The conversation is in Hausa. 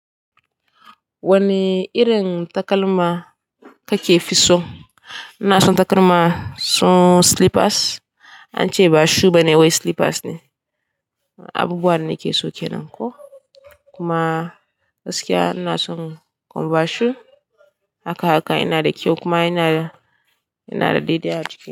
Wane irin takalma kake fi so? Ina son takalma su slippers, ance ba shoe bane wai slippers ne. Abubuwa dane ke so kenan ko. Kuma gaskiya ina son conver shoe haka haka yana da kyau kuma yana da, yana da daidai a ciki.